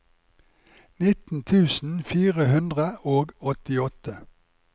nitten tusen fire hundre og åttiåtte